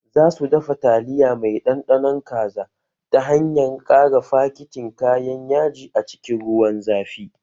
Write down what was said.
Za su dafa taliya mai ɗanɗanon kaza ta hanyar ƙara fakitin kayan yaji a cikin ruwan zafi